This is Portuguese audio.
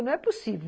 Não é possível.